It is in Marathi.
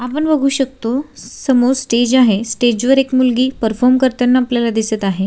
आपण बघू शकतो समोर स्टेज आहे स्टेज वर एक मुलगी परफॉर्म करताना आपल्याला दिसत आहे.